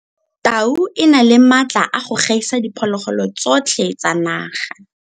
Tau e na le maatla a go gaisa diphologolo tsotlhe tsa naga.